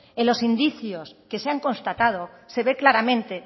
en los indicios que se han constatado se ve claramente